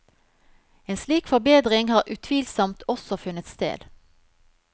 En slik forbedring har utvilsomt også funnet sted.